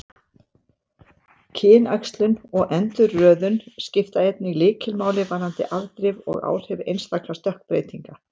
Kynæxlun og endurröðun skipta einnig lykilmáli varðandi afdrif og áhrif einstakra stökkbreytinga.